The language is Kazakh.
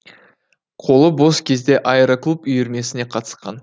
қолы бос кезде аэроклуб үйірмесіне қатысқан